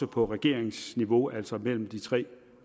på regeringsniveau altså mellem de tre